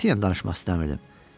Qətiyyən danışmaq istəmirdim.